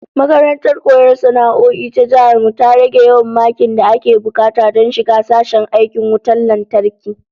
Makarantar koyon sana'o'i ta Jihar mu ta rage yawan makin da ake bukata don shiga sashen aikin wutan lantarki